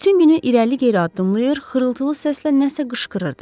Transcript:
Bütün günü irəli-geri addımlayır, xırıltılı səslə nəsə qışqırırdı.